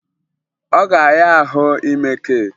Ọ ga-ahịa ahụ ime keeki